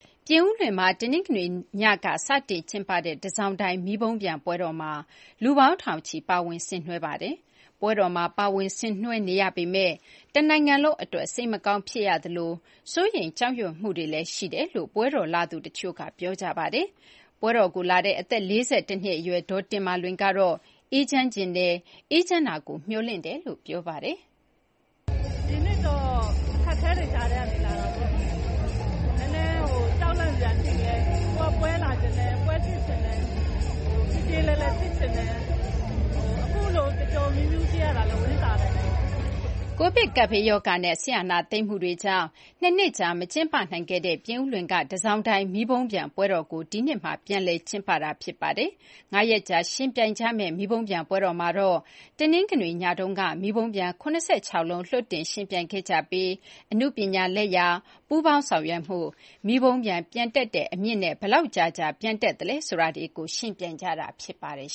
ပြင်ဦးလွင်မှာ တနင်္ဂနွေညက စတင် ကျင်းပတဲ့ တန်ဆောင်တိုင် မီးပုံးပျံ ပွဲတော်မှာ လူပေါင်း ထောင်ချီ ပါဝင် ဆင်နွှဲခဲ့ကြပါတယ်။ ပွဲတော်မှာ ပါဝင်ဆင်နွှဲနေရပေမယ့် တနိုင်ငံလုံး အတွက် စိတ်မကောင်း ဖြစ်ရသလို စိုးရိမ်ကြောက်ရွံ့မှုတွေလည်း ရှိတယ်လို့ ပွဲတော်လာသူ တချို့က ပြောကြပါတယ်။ ပွဲလာတဲ့ အသက် ၄၁ နှစ် အရွယ် ဒေါ်တင်မာလွင်ကတော့ အေးချမ်းချင်တယ်၊ အေးချမ်းတာကို မျှော်လင့်တယ်လို့ ပြောပါတယ်။ " ဒီနှစ်တော့ အခက်အခဲတွေကြားက လာတာပေါ့။ နည်းနည်း ကြောက်လန့်စရာတွေ ရှိလည်း ကိုယ်က ပွဲလာချင်တယ် ပွဲကြည့်ချင်တယ်၊ ပြေပြေလည်လည် ဖြစ်ချင်တယ်။ အခုလို ပျော်ပျော်မြူးမြူး ဖြစ်ရတာလည်း ဝမ်းသာတယ် " Covid ကပ်ဘေးရောဂါနဲ့ စစ်အာဏာသိမ်းမှုတွေကြောင့် ၂ နှစ်ကြာ မကျင်းပနိုင်ခဲ့တဲ့ ပြင်ဦးလွင်က တန်ဆောင်တိုင် မီးပုံးပျံ ပွဲတော်ကို ဒီနှစ်မှာ ပြန်လည် ကျင်းပတာ ဖြစ်ပါတယ်။ ၅ ရက်ကြာ ယှဉ်ပြိုင်ကြမယ့် မီးပုံပျံ ပွဲတော်မှာတော့ တနင်္ဂနွေညမှာတော့ မီးပုံပျံ ၇၆ လုံး လွှတ်တင် ယှဉ်ပြိုင်ခဲ့ကြပြီး အနုပညာလက်ရာ၊ ပူးပေါင်းဆောင်ရွက်မှု၊ မီးပုံပံျ ပျံတက်တဲ့ အမြင့်နဲ့ ဘယ်လောက် ကြာကြာ ပျံတက်သလဲ ဆိုတာတွေကို ယှဉ်ပြိုင်ကြတာ ဖြစ်ပါတယ်